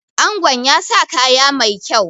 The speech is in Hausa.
Angon ya sa kaya mai kyau